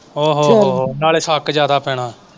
ਓ ਹੋ ਹੋ ਨਾਲੇ ਸ਼ੱਕ ਜਿਆਦਾ ਪੈਣਾ।